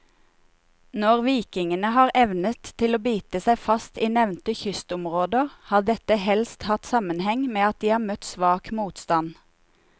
Når vikingene har evnet å bite seg fast i nevnte kystområder, har dette helst hatt sammenheng med at de har møtt svak motstand.